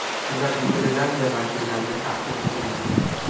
Ular Niderlandiya vakillariga taqdim etilgan.